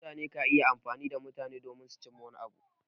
Mutane ka iya amfani da mutane su cimma wani abu.